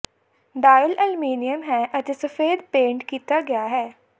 dial aluminium ਹੈ ਅਤੇ ਸਫੈਦ ਪੇਂਟ ਕੀਤਾ ਗਿਆ ਹੈ